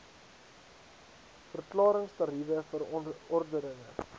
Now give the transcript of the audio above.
verklarings tariewe verordeninge